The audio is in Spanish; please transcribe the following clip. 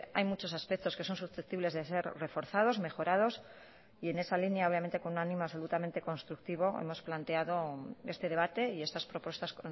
hay muchos aspectos que son susceptibles de ser reforzados mejorados y en esa línea obviamente con un ánimo absolutamente constructivo hemos planteado este debate y estas propuestas